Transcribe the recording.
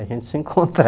A gente se